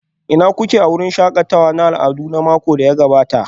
Ina kuke a wurin shakatawa na al'adu makon da ya gabata?